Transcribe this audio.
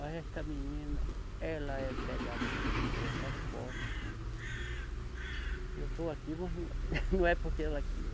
Mas esta menina, ela é pegada comigo da tal forma que, eu estou aqui, mas não, não é porque ela queira.